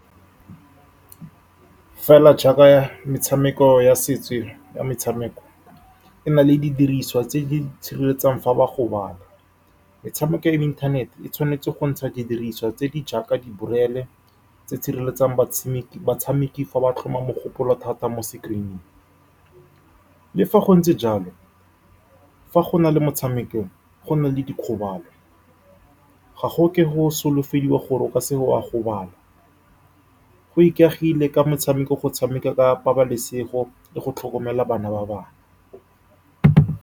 Fela jaaka metshameko ya ya metshameko e na le didiriswa tse di sireletsang fa ba gobala. Metshameko e mo inthanete e tshwanetse go ntsha didiriswa tse di jaaka di-bril-e tse di sireletsang batshameki-batshameki fa ba tlhoma mogopolo thata mo screen-ing. Le fa go ntse jalo, fa go na le motshameko go na le dikgobalo, ga go ke go solofediwa gore o ka seka wa gobala, go ikaegile ka motshameko, go tshameka ka pabalesego le go tlhokomela bana ba bangwe.